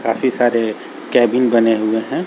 काफी सारे कैबिन बने हुए हैं।